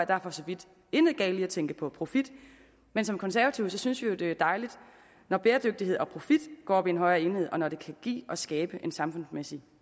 der for så vidt intet galt er i at tænke på profit men som konservative synes vi jo det er dejligt når bæredygtighed og profit går op i en højere enhed og når det kan give og skabe en samfundsmæssig